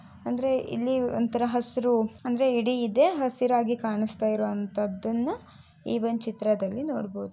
ಅಂದ್ರೆ ಇಲ್ಲಿ ಒಂತರ ಹಸ್ರು ಅಂದ್ರೆ ಇಡೀ ಇದೆ ಹಸರಾಗಿ ಕಾಣಿಸ್ತಾ ಇರೋಂತದ್ದನ ಈ ಒಂದು ಚಿತ್ರದಲ್ಲಿ ನೋಡಬಹುದು .